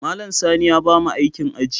Malam Sani ya bamu aikin aji.